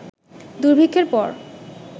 দুর্ভিক্ষের পর